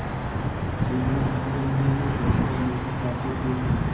अलगू इस झमेले में फँसना नहीं चाहते थे